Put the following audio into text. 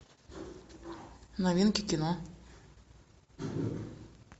новинки кино